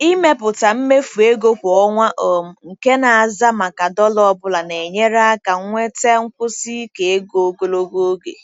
Ịmepụta mmefu ego kwa ọnwa um nke na-aza maka dollar ọ bụla na-enyere aka nweta nkwụsi ike ego ogologo oge.